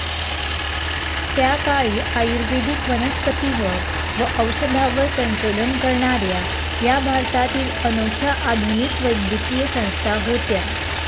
त्या काळी आयुर्वेदिक वनस्पतींवर व औषधांवर संशोधन करणाऱ्या या भारतातील अनोख्या आधुनिक वैद्यकीय संस्था होत्या.